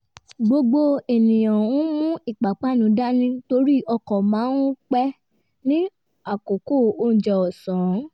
gbogbo ènìyàn ń mú ìpápánu dání torí ọkọ̀ máa ń pé ní àkókò oúnjẹ ọ̀sán